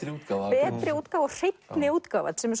betri útgáfa hreinni útgáfa sem er